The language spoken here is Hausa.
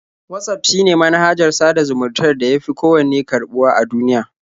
Watsaf shine manhajar sada zumuntar da ya fi kowanne karɓuwa a duniya.